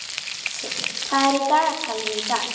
Jónsi, hvað er á dagatalinu í dag?